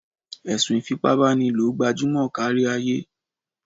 Ẹ̀sùn ìfipábánilò gbajúmọ̀ kárí ayé.